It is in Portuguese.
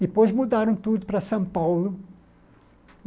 Depois mudaram tudo para São Paulo.